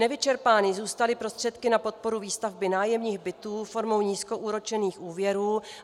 Nevyčerpány zůstaly prostředky na podporu výstavby nájemních bytů formou nízkoúročených úvěrů.